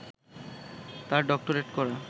তার ডক্টরেট করা